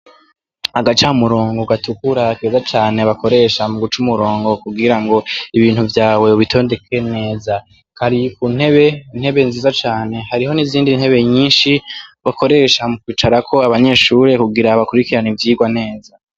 Agaca murongo gatukura keza cane bakoresha mu guca umurongo kugira ngo ibintu vyawe bbitondeke neza kari ku ntebe intebe nziza cane hariho n'izindi ntebe nyinshi bakoresha mu kwicarako abanyeshure kugira abakurikerano ivyirwa neza.